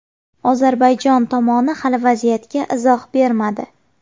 Ozarbayjon tomoni hali vaziyatga izoh bermadi.